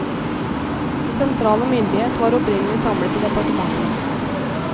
Den sentrale myndighet var opprinnelig samlet i departementene.